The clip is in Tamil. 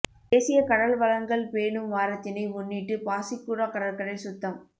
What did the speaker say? தேசிய கடல் வளங்கள் பேணும் வாரத்தினை முன்னிட்டு பாசிக்குடா கடற்கரை சுத்தம்